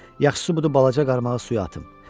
Yaxşısı budur balaca qarmağı suya atım.